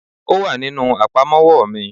Ò wà nínú àpamọ́wọ́ mi